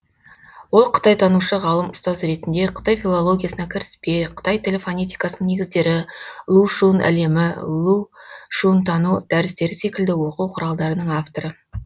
ол қытайтанушы ғалым ұстаз ретінде қытай филологиясына кіріспе қытай тілі фонетикасының негіздері лу шүн әлемі лу шүнтану дәрістері секілді оқу құралдарының авторы